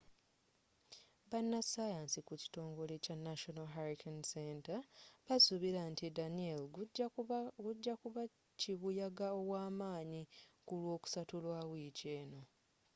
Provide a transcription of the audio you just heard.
bannasaayansi ku kitongole kya national hurricane center basuubira nti danielle gujja kuba kibuyaga ow'amaanyi ku lwokusatu lwa wiiki eno